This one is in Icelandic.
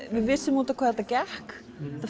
við vissum út á hvað þetta gekk